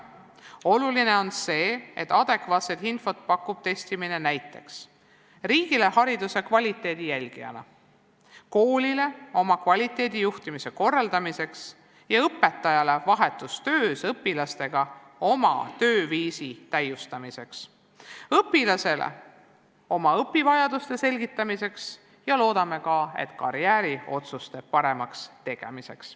Oluline on see, et testimine pakub adekvaatset infot näiteks riigile hariduse kvaliteedi jälgimiseks, koolile oma kvaliteedijuhtimise korraldamiseks, õpetajale vahetus töös õpilastega oma tööviisi täiustamiseks ja õpilasele oma õpivajaduste selgitamiseks ja loodame ka, et paremate karjääriotsuste tegemiseks.